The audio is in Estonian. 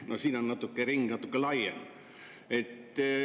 No siin on ring natuke laiem.